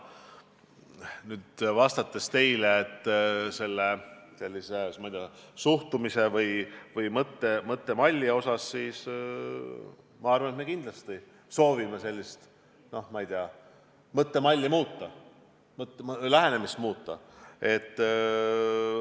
Nüüd, vastates teie küsimusele, ma ei tea, suhtumise või mõttemalli kohta, ma arvan, et me kindlasti soovime sellist mõttemalli, sellist lähenemist muuta.